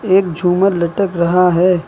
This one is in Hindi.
एक झूमर लटक रहा है।